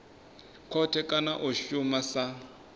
khothe kana a shuma sa